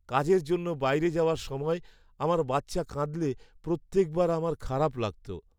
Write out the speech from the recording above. কাজের জন্য বাইরে যাওয়ার সময় আমার বাচ্চা কাঁদলে প্রত্যেকবার আমার খারাপ লাগত।